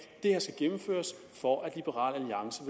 det her skal gennemføres for at liberal alliance